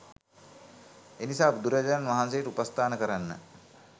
එනිසා බුදුරජාණන් වහන්සේට උපස්ථාන කරන්න